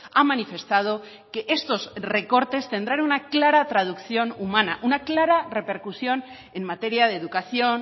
ha manifestado que estos recortes tendrán una clara traducción humana una clara repercusión en materia de educación